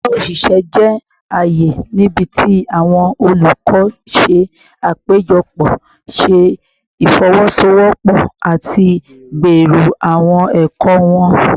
Yara oṣiṣẹ jẹ aaye nibiti awọn olukọ ṣe apejọpọ, ṣe ifowosowopo, ati gbero awọn ẹkọ wọn